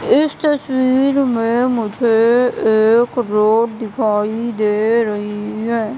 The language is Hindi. इस तस्वीर में मुझे एक रोड दिखाई दे रही हैं।